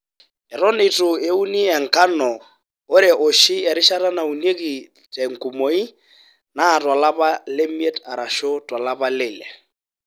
Eton eitu euni enkano oo ore oshi erishata naunieki te nkumoi naa tolapa le miet arashu to lapa le ile.